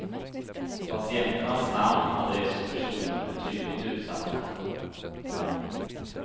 Patienternas namn, adress och personnummer är tydligt utsatta.